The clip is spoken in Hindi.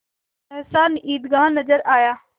सहसा ईदगाह नजर आया